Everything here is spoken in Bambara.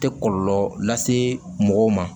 Tɛ kɔlɔlɔ lase mɔgɔw ma